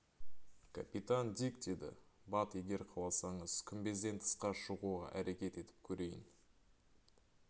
капитан дик деді бат егер қаласаңыз күмбезден тысқа шығуға әрекет етіп көрейін